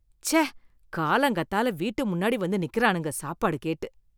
ச்சே, காலங்காத்தால வீட்டு முன்னாடி வந்து நிக்கறானுங்க சாப்பாடு கேட்டு.